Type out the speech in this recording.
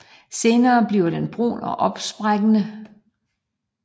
Senere bliver den brun og opsprækkende